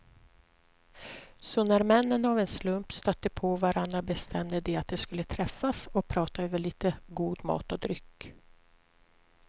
Så när männen av en slump stötte på varandra bestämde de att de skulle träffas och prata över lite god mat och dryck.